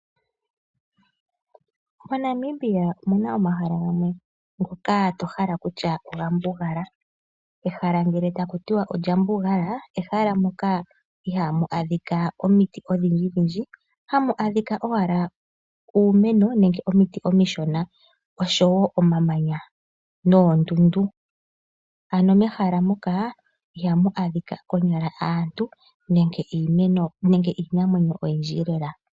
MoNamibia omuna omahala gamwe ngoka to hala kutya oga mbugala. Ehala ngele takuti olya mbugala, ehala moka ihamu adhika omiti odhindji dhindji, hamu adhika owala uumeno nenge omiti omishona oshowo omamanya noondundu. Ano mehala muka ihamu adhika konyala aantu nenge iinamwenyo oyindji lela.